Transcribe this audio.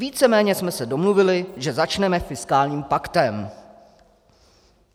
Víceméně jsme se domluvili, že začneme fiskálním paktem.